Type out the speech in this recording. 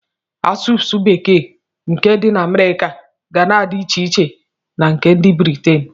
Asụsụ bekee nke ndị Amerịka ga na-adị iche na nke ndị Britin.